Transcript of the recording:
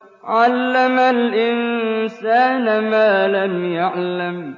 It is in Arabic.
عَلَّمَ الْإِنسَانَ مَا لَمْ يَعْلَمْ